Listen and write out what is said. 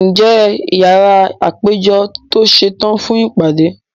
Njẹ̀ yàrá àpẹjọ̀ tó ṣẹtan fún ipádé?